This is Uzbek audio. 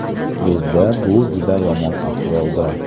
Bizda bu juda yomon ahvolda.